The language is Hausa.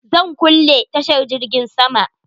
Zan kulle tashar jirgin sama?